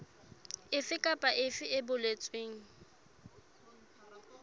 efe kapa efe e boletsweng